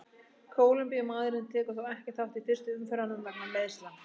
Kólumbíumaðurinn tekur þó ekki þátt í fyrstu umferðunum vegna meiðsla.